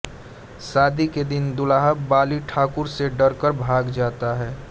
शादी के दिन दूल्हा बाली ठाकुर से डरकर भाग जाता है